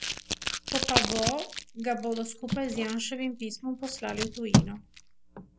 Ko pa bo, ga bodo skupaj z Janševim pismom poslali v tujino.